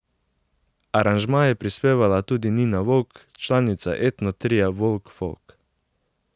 Aranžma je prispevala tudi Nina Volk, članica etno tria Volk Folk.